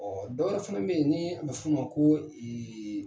dɔ wɛrɛ fɛnɛ be ye nii a bɛ f'u ma ko